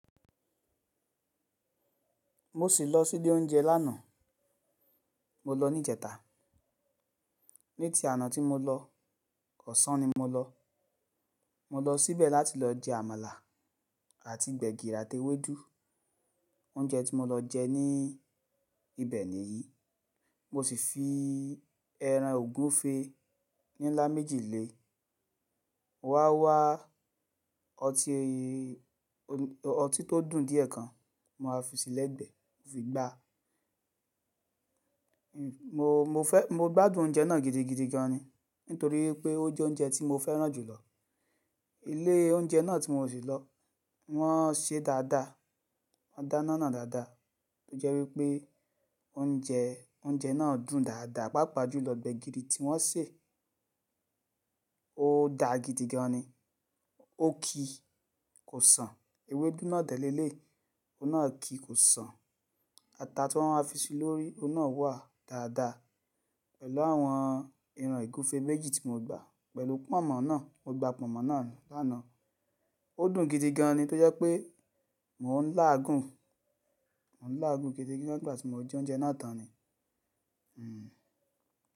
Mo sì lọ sí ilé oúnjẹ lánàá, mo lọ ní ìjẹta. Ni ti i àná tí mo lọ, ọ̀sán ni mo lọ. Mo lọ síbẹ̀ láti lọ jẹ àmàlà àti gbẹ̀gìrì àti ewédú. Oúnjẹ tí mo lọ jẹ ní ibẹ̀ nìyí. Mo sì fi ẹran ògúnfe nílá méjì lé, wá wá ọtí tó dùn díẹ̀ kan ma fi sílẹ̀ gbẹ̀ fi gbá. Mo, mo fẹ́, mo gbádùn oúnjẹ náà gidigidi gan ni nítorí pé ó jẹ́ oúnjẹ tí mo fẹ́ràn jùlọ. Ilé oúnjẹ náà tí mo sì lọ, wọ́n ṣe dáadáa, wọ́n dáná náà dáadáa tó jẹ́ wípé oúnjẹ, oúnjẹ náà dùn dáadáa, pàápàá jù lọ gbẹ̀gìrì tí wọ́n sè ó da gidigan ni. Ó ki kò sàn, ewédú náà dẹ̀ léleyi ohun náà ki kò sàn. Ata tí wọ́n á fi sí lórí, ohun náà wà dáadáa pẹ̀lú àwọn ẹran ògúnfe méjì tí mo gbà pẹ̀lú pọ̀nmọ́ náà. Mo gba pọ̀nmọ́ náà lánàá. Ó dùn gidigan ni tó jẹ́ pé mò ń láàgùn, mò ń láàgùn gidi gan nígbà tí mo jẹ oúnjẹ náà tán ni. Hmm.